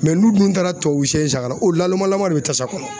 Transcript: n'u dun taara tubabu sɛ in san ka na o lalomalama de be tasa kɔnɔ.